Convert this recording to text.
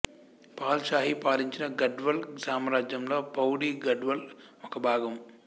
Paul Shahi పాలించిన గఢ్వాల్ సామ్రాజ్యంలో పౌడీ గఢ్వాల్ ఒకభాగం